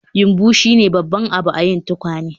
Yumbu shine babban abu a yin tukwane